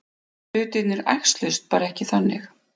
Hlutirnir æxluðust bara ekki þannig.